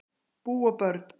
Bú og börn